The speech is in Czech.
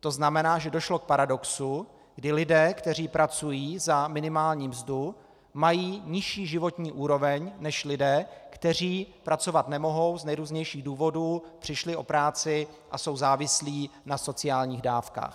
To znamená, že došlo k paradoxu, kdy lidé, kteří pracují za minimální mzdu, mají nižší životní úroveň než lidé, kteří pracovat nemohou z nejrůznějších důvodů, přišli o práci a jsou závislí na sociálních dávkách.